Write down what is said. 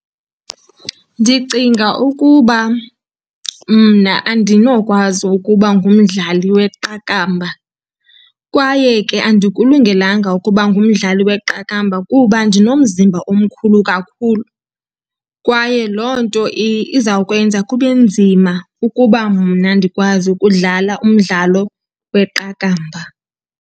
Ndicinga ukuba mna andinokwazi ukuba ngumdlali weqakamba kwaye ke andikulungelanga ukuba ngumdlali weqakamba. Kuba ndinomzimba omkhulu kakhulu kwaye loo nto izawukwenza kube nzima ukuba mna ndikwazi ukudlala umdlalo weqakamba.